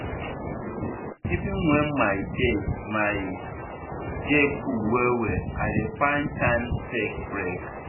even when my day my day full well well i dey find time take break.